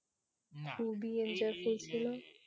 না